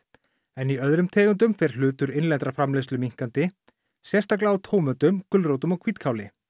en í öðrum tegundum fer hlutur innlendrar framleiðslu minnkandi sérstaklega á tómötum gulrótum og hvítkáli